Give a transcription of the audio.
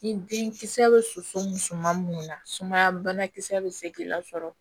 Ni den kisɛ bɛ soso musuma minnu na sumaya banakisɛ bɛ se k'i lasɔrɔ